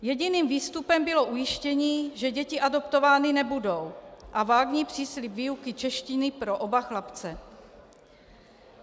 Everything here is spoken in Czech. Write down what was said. Jediným výstupem bylo ujištění, že děti adoptovány nebudou, a vágní příslib výuky češtiny pro oba chlapce.